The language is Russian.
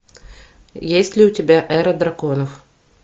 есть ли у тебя эра драконов